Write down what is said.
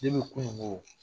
kunugo